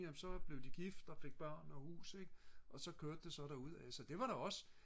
jamen så blev de gift og fik børn og hus ik og så kørte det så derudaf så det var jo også